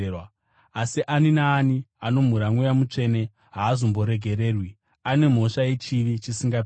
Asi ani naani anomhura Mweya Mutsvene haazomboregererwi; ane mhosva yechivi chisingaperi.”